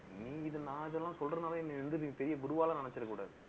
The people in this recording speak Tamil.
நீ இது, நான் அதெல்லாம் சொல்றதுனால, என்னை வந்து, நீ பெரிய குருவா எல்லாம் நினைச்சிடக் கூடாது